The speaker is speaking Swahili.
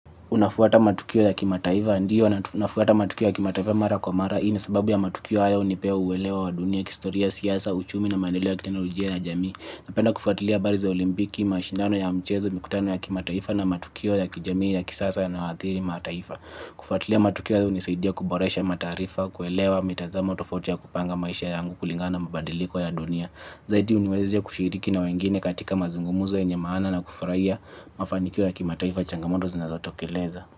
Unafuata matukio ya kimataifa? Ndio nafuata matukio ya kimataifa mara kwa mara. Hii ni sababu ya matukio haya hunipea uelewa wa dunia, kistoria, siasa, uchumi na maendeleo ya kiteknolonia ya jamii. Napenda kufuatilia habari za olimpiki, mashindano ya mchezo, mikutano ya kimataifa na matukio ya kijamii ya kisasa yanayoathiri mataifa. Kufuatilia matukio hayo hunisaidia kuboresha mataarifa, kuelewa, mitazamo tofauti ya kupanga maisha yangu kulingana na mabadiliko ya dunia. Zaidi huniwezesh kushiriki na wengine katika mazungumzo yenye maana na kufraia mafanikio ya kimataifa changamoto zinazotokeleza.